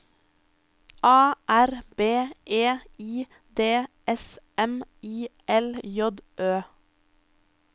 A R B E I D S M I L J Ø